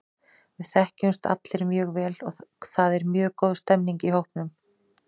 Við þekkjumst allir mjög vel og það er mjög góð stemning í hópnum.